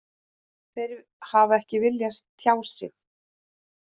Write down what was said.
Þeir hafa ekki viljað tjá sig